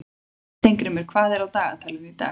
Steingrímur, hvað er á dagatalinu í dag?